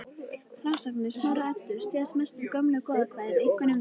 Frásagnir Snorra-Eddu styðjast mest við gömul goðakvæði, einkum við